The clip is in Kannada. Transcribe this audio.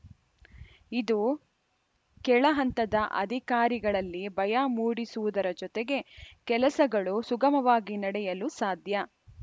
ಇದು ಕೆಳಹಂತದ ಅಧಿಕಾರಿಗಳಲ್ಲಿ ಭಯ ಮೂಡಿಸುವುದರ ಜತೆಗೆ ಕೆಲಸಗಳು ಸುಗಮವಾಗಿ ನಡೆಯಲು ಸಾಧ್ಯ